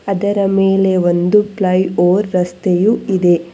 ಅದರ ಮೇಲೆ ಒಂದು ಫ್ಲೈ ಓವರ್ ರಸ್ತೆ ಇದೆ.